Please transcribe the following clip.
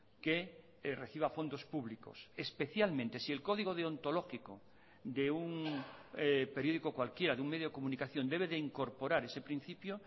que reciba fondos públicos especialmente si el código deontológico de un periódico cualquiera de un medio de comunicación debe de incorporar ese principio